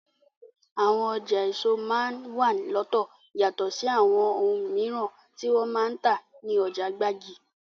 Àwọn ọjà èso máa n wà lọ́tọ̀ yatọ̀ sí àwọn oun mìíràn tí wọ́n ń tà ní ọjà gbági.